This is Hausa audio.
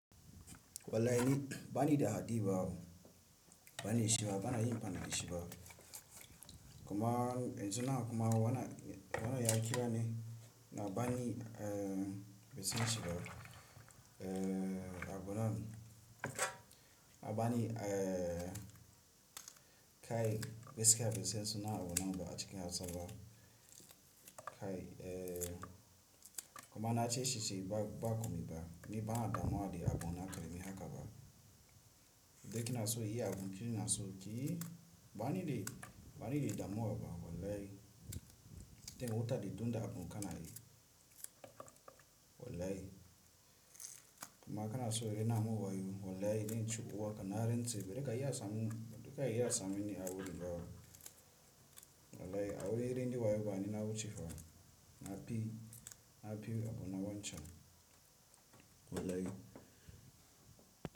Wallahi bani da haɗi ba, bani dashi ba, bana yi amfani dashi ba, kuma yanzunan kuma wannan, wannan ya kira ni na bani, eh, bansan shi ba, eh, abunan na bani, eh. Kai gaskiya bansan sunan abunnan a cikin Hausa ba. Kai, eh kuma na ce shi shi ba ba ku mi ba ni ba na damuwa da agunan ka da me haka ba in dai kina so inyi abu ki na so ki yi bani da bani da damuwa ba wallahi ten wuta da tunda abun ka na yi wallahi kuma aka na so rena mun wayo wallahi dai in ci uwa ka na ren tsaye dai ka yi asamun duka yi asamun ni a wurin gawa wallahi a wurin reni da wayo bani na wucewa na bi na bi agunan wancan wallahi.